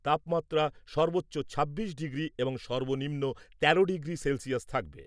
তাপমাত্রা সর্বোচ্চ ছাব্বিশ ডিগ্রি এবং সর্বনিম্ন তেরো ডিগ্রি সেলসিয়াস থাকবে।